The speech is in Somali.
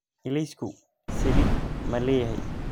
Ilaysku saliid ma leeyahay?